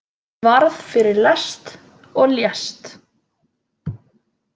Varð fyrir lest og lést